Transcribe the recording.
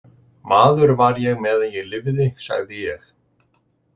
Maður var ég meðan ég lifði, sagði ég.